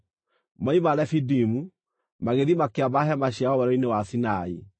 Moima Refidimu, magĩthiĩ makĩamba hema ciao Werũ-inĩ wa Sinai.